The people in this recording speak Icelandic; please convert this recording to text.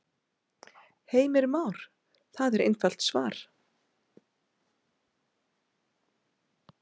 Heimir Már: Það er einfalt svar?